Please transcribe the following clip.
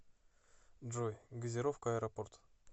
джой газировка аэропорт